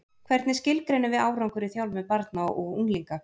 Hvernig skilgreinum við árangur í þjálfun barna og unglinga?